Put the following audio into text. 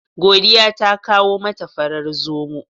Godiya ta kawo mata farar zomo.